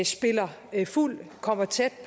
spiller fuld og kommer tæt